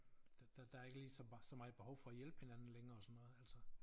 Der der der ikke lige så så meget behov for at hjælpe hinanden længere og sådan noget altså